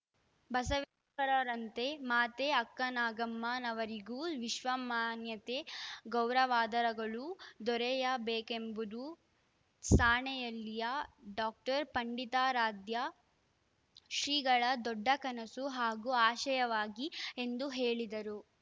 ಬಸವೇಶ್ವರರಂತೆ ಮಾತೆ ಅಕ್ಕನಾಗಮ್ಮನವರಿಗೂ ವಿಶ್ವಮಾನ್ಯತೆ ಗೌರವಾದರಗಳು ದೊರೆಯಬೇಕೆಂಬುದು ಸಾಣೇಹಳ್ಳಿಯ ಡಾಕ್ಟರ್ ಪಂಡಿತಾರಾಧ್ಯ ಶ್ರೀಗಳ ದೊಡ್ಡ ಕನಸು ಹಾಗೂ ಆಶಯವಾಗಿದೆ ಎಂದು ಹೇಳಿದರು